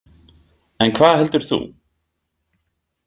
En hvað heldur þú?